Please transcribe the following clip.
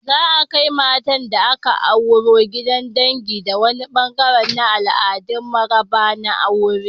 Za'a kai matar da aka auro gidan dangi a wani ɓangare na al'adun maraba na aure.